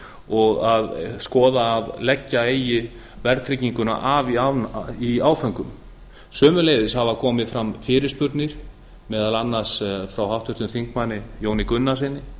og að skoða að leggja eigi verðtrygginguna af í áföngum sömuleiðis hafa komið fram fyrirspurnir meðal annars frá háttvirtum þingmanni jóni gunnarssyni